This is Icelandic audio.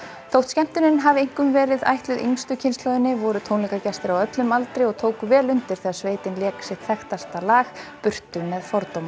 þótt skemmtunin hafi einkum verið ætluð yngstu kynslóðinni voru tónleikagestir á öllum aldri og tóku vel undir þegar sveitin lék sitt þekktasta lag burtu með fordóma